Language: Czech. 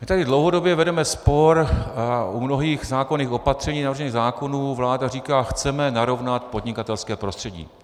My tady dlouhodobě vedeme spor a u mnohých zákonných opatření navržených zákonů vláda říká: chceme narovnat podnikatelské prostředí.